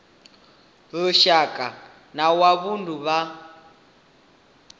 lushaka na wa vundu na